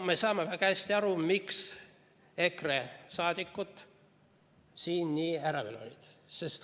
Me saame väga hästi aru, miks EKRE liikmed siin nii ärevil olid.